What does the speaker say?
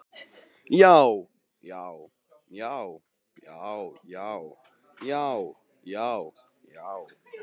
JÁ, JÁ, JÁ, JÁ, JÁ, JÁ, JÁ, JÁ.